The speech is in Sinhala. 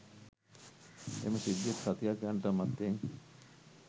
එම සිද්ධියට සතියක් යන්නටත් මත්තෙන්